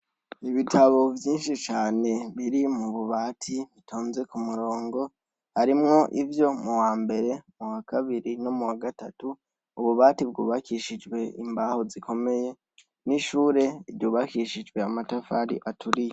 ibitabo vyinshi cane biri mu bubati bitonze ku murongo, harimwo ivyo m'uwambere, m'uwakabiri, m'uwagatatu. Ububati bwubakishijwe imbaho zikomeye, n'ishure ryubakishijwe amatafari aturiye.